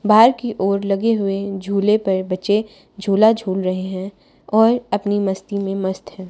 बाहर की ओर लगे हुए झूले पर बच्चे झूला झूल रहे हैं और अपनी मस्ती में मस्त हैं।